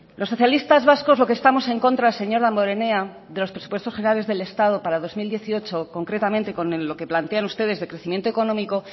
los socialistas vascos lo que estamos en contra señor damborenea de los presupuestos generales del estado para dos mil dieciocho concretamente con lo que plantean ustedes de crecimiento económico